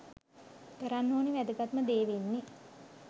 කරන්න ඕනේ වැදගත්ම දේ වෙන්නේ